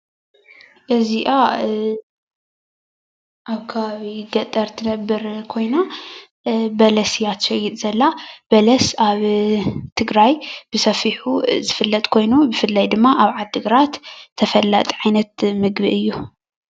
እዚኣ ኣብ ከባቢ ገጠር ትነብር ኮይና በለስ እያ ትሸይጥ ዘላ:: በለስ ኣብ ትግራይ ብሰፊሑ ዝፍለጥ ኮይኑ ብፍላይ ድማ ኣብ ዓዲግራት ተፈላጢ ዓይነት ምግቢ እዩ።